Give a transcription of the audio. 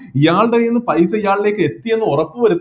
ഇയാളുടെ കൈയിൽനിന്ന് പൈസ ഇയാളിലേക്ക് എത്തിയെന്ന് ഉറപ്പുവരു